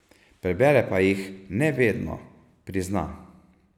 Prebere pa jih ne vedno, prizna.